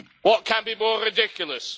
What can be more ridiculous?